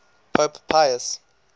pope pius